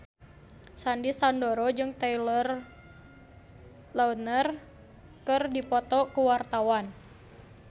Sandy Sandoro jeung Taylor Lautner keur dipoto ku wartawan